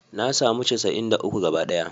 Na samu casa'in da uku gabaɗaya